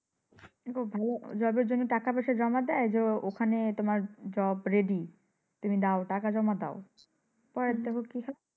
দেখো ভালো job এর জন্য টাকা পয়সা জমা দেয় ওখানে তোমার জব ready তুমি দাও টাকা জমা দাও। পরে দেখো কি হয়?